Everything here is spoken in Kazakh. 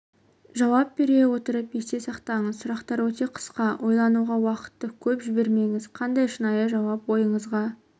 жауап бере отырып есте сақтаңыз сұрақтар өте қысқа ойлануға уақытты көп жібермеңіз қандай шынайы жауап ойыңызға